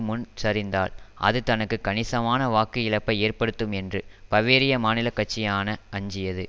முன் சரிந்தால் அது தனக்கு கணிசமான வாக்கு இழப்பை ஏற்படுத்தும் என்று பவேரிய மாநிலக்கட்சியான அஞ்சியது